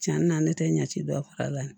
Cɛnni na ne tɛ ɲɛ ci dɔ faga la